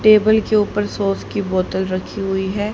Table के ऊपर sauce की बोतल रखी हुई है।